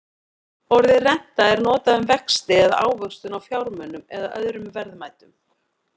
Orðið renta er notað um vexti eða ávöxtun á fjármunum eða öðrum verðmætum.